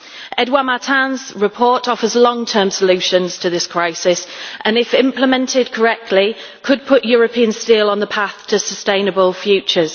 Edouard Martin's report offers long term solutions to this crisis, and if implemented correctly it could put European steel on the path to a sustainable future.